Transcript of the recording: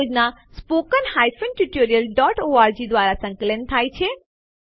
આ યોજના httpspoken tutorialorg દ્વારા સંકલન થાય છે